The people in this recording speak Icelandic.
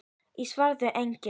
Í svarinu segir einnig